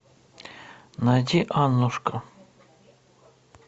найди аннушка